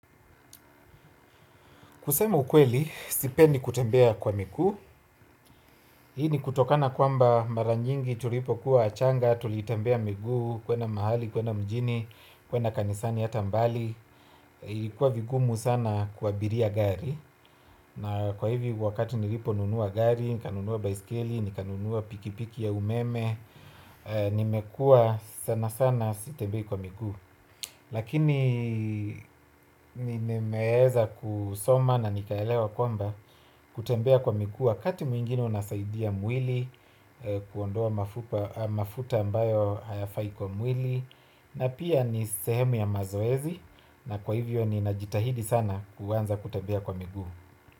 Kusema ukweli, sipendi kutembea kwa miguu. Hii ni kutokana kwamba mara nyingi tulipokuwa wachanga, tulitembea miguu, kwenda mahali, kwenda mjini, kwenda kanisani ata mbali. Ilikuwa vigumu sana kuwa abiria gari. Na kwa hivi wakati niliponunua gari, nikanunua baiskeli, nikanunua pikipiki ya umeme. Nimekuwa sana sana sitembei kwa miguu. Lakini nimeweza kusoma na nikaelewa kwamba kutembea kwa miguu wakati mwingine unasaidia mwili kuondoa mafuta ambayo hayafai kwa mwili na pia ni sehemu ya mazoezi na kwa hivyo ninajitahidi sana kuanza kutembea kwa miguu.